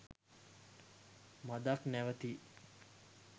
මදක් නැවතී